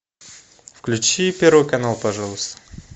включи первый канал пожалуйста